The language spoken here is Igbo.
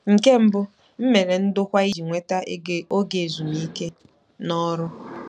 Nke mbụ, m mere ndokwa iji nweta oge ezumike n'ọrụ.